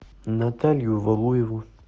наталью валуеву